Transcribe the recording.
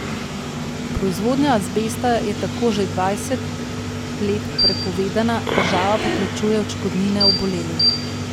Proizvodnja azbesta je tako že dvajset let prepovedana, država pa plačuje odškodnine obolelim.